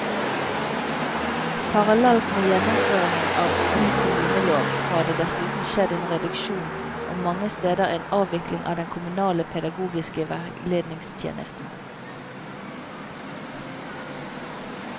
Parallelt med gjennomføringen av ny kommunelov har det dessuten skjedd en reduksjon og mange steder en avvikling av den kommunale pedagogiske veiledningstjenesten.